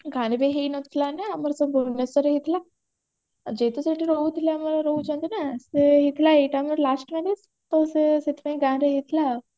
ଗାଁରେ ବି ହେଇ ନଥିଲା ନା ଆମର ସବୁ ଭୁବନେଶ୍ବରରେ ହେଇଥିଲା ଆଉ ଯେହେତୁ ସେଠି ରହୁଥିଲେ ଆମର ରହୁଛନ୍ତି ନା ସେ ହେଇଥିଲା ଏଇଟା ଆମର last marriage ତ ସେ ସେଥିପାଇଁ ଗାଁରେ ହେଇଥିଲା